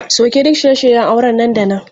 Sauke duk shirye shiryen auren nan da nan!